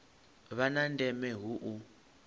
vha na ndeme hu u